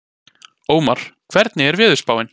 Ómar, hvernig er veðurspáin?